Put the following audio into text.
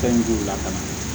Fɛn don o la ka na